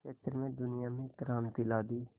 क्षेत्र में दुनिया में एक क्रांति ला दी